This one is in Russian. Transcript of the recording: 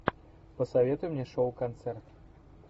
посоветуй мне шоу концерт